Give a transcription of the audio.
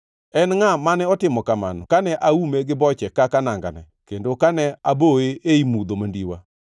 En ngʼa mane otimo kamano kane aume gi boche kaka nangane kendo kane aboye ei mudho mandiwa;